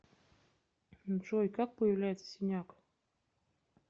джой как появляется синяк